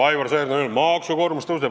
Aivar Sõerd on öelnud, et maksukoormus kasvab.